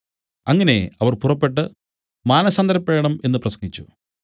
അങ്ങനെ അവർ പുറപ്പെട്ടു മാനസാന്തരപ്പെടണം എന്നു പ്രസംഗിച്ചു